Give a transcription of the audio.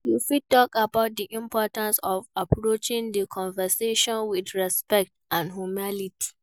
You fit talk about di importance of approaching di conversation with respect and humility.